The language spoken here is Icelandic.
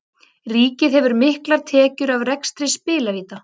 Ríkið hefur miklar tekjur af rekstri spilavíta.